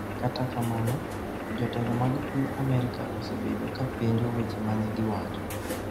Kata kamano, jotelo mag piny Amerka osebedo ka penjo weche ma ne giwacho.